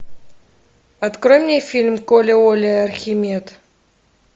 открой мне фильм коля оля архимед